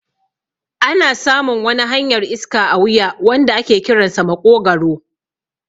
Ana samun wani hanyar iska a wuya wanda ake kiransa maƙogwaro